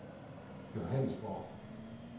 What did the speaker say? Johannesborg